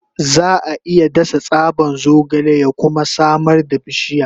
Za a iya dasa tsaban zogale ya kuma samar da bishiya.